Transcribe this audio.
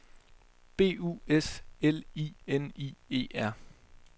B U S L I N I E R